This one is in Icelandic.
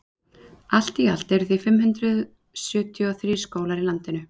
allt í allt eru því fimm hundruð sjötíu og þrír skólar á landinu